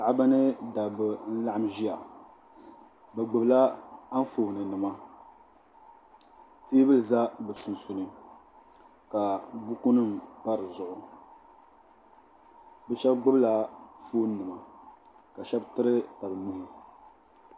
Paɣaba ni dabba n laɣim ʒiya bi gbubi la anfooni nima teebuli za bi sunsuuni ka buku nim pa di zuɣu bi shɛba gbubi la fooni nima ka shɛba tiri tabi nuhi.